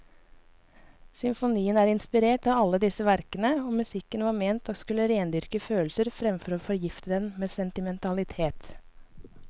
Symfonien er inspirert av alle disse verkene, og musikken var ment å skulle rendyrke følelser framfor å forgifte dem med sentimentalitet.